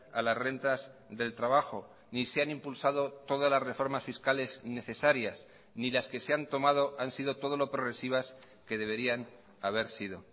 a las rentas del trabajo ni se han impulsado todas las reformas fiscales necesarias ni las que se han tomado han sido todo lo progresivas que deberían haber sido